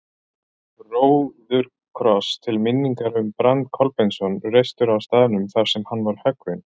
Róðukross til minningar um Brand Kolbeinsson, reistur á staðnum þar sem hann var höggvinn.